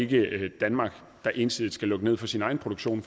det er ikke danmark der ensidigt skal lukke ned for sin egen produktion